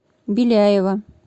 беляева